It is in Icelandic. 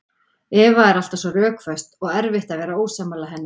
Eva er alltaf svo rökföst og erfitt að vera ósammála henni.